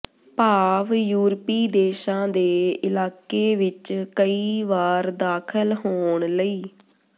ਭਾਵ ਯੂਰਪੀ ਦੇਸ਼ਾਂ ਦੇ ਇਲਾਕੇ ਵਿਚ ਕਈ ਵਾਰ ਦਾਖਲ ਹੋਣ ਲਈ